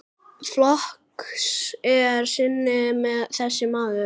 Flokks er sinni þessi maður.